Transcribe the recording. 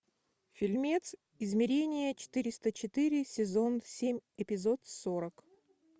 фильмец измерение четыреста четыре сезон семь эпизод сорок